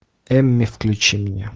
эмми включи мне